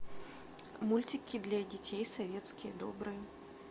мультики для детей советские добрые